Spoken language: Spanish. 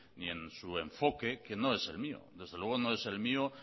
ni en su enfoque que no es el mío desde luego no es el mío